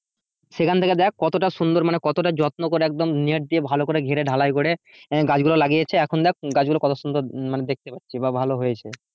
সেখান থেকে কতটা সুন্দর মানে কতটা যত্ন করে একদম net দিয়ে ভালো করে ঘেরে ঢালাই করে গাছ গুলো লাগিয়েছে এখন দেখ গাছ গুলো দেখতে পারছি মানে ভালো হয়েছে।